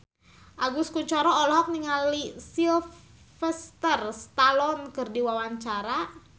Agus Kuncoro olohok ningali Sylvester Stallone keur diwawancara